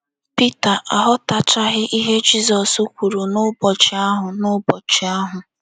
Pita aghọtachaghị ihe Jizọs kwuru n’ụbọchị ahụ n’ụbọchị ahụ.